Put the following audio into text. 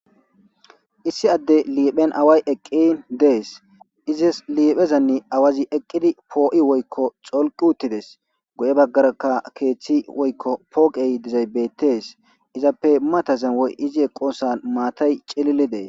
Issi adde liiphen away eqqi dees izas liiphezanni awazi eqqidi poo'i woykko xolqi uttides go7e baggarakka keeththi woykko pooqey dizaybettees izappe matazan woy izi eqosan maatay cilili dees.